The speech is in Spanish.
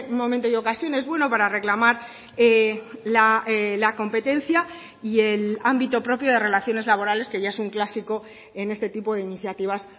momento y ocasión es bueno para reclamar la competencia y el ámbito propio de relaciones laborales que ya es un clásico en este tipo de iniciativas